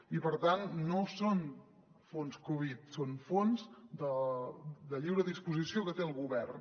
i per tant no són fons covid són fons de lliure disposició que té el govern